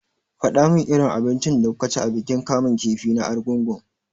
Faɗa min irin abincin da kuka ci a bikin kamun kifi na argungu!